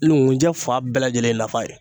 Nkunjɛ fan bɛɛ lajɛlen ye nafa ye